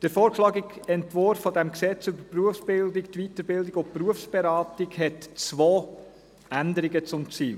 Der vorgeschlagene Entwurf dieses Gesetzes über die Berufsbildung, Weiterbildung und Berufsberatung (BerG) hat zwei Änderungen zum Ziel.